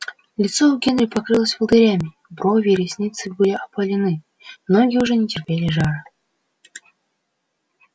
лицо у генри покрылось волдырями брови и ресницы были опалены ноги уже не терпели жара